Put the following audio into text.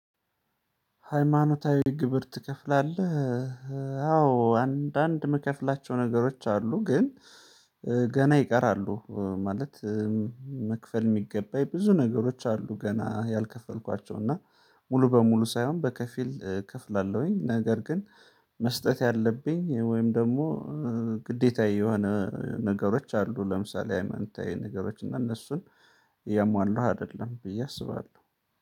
ሃይማኖታዊ ግብር ትከፍላለህ? አዎ አንዳንድ መከፍላቸው ነገሮች አሉ። ግን ገና ይቀራሉ ማለት መክፈል የሚገባኝ ብዙ ነገሮች አሉ ገና ያልከፈልኳቸው። እና ሙሉ በሙሉ ሳይሆን በከፊል እከፍላለሁኝ። ነገር ግን መስጠት ያለብኝ ወይም ደግሞ ግዴታዬ የሆነ ነገሮች አሉ። ለምሳሌ አንተ ነገሮች እና እነሱን የሟሉህ አይደለም ብዬ አስባለሁ